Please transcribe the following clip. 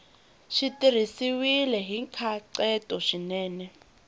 swi tirhisiwile hi nkhaqato swinene